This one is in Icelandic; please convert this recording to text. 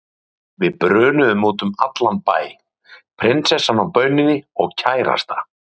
Við brunuðum út um allan bæ, prinsessan á bauninni og kærasta